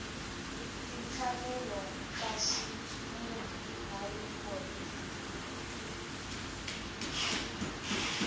timfanelo ta ximunhu na vuphorisa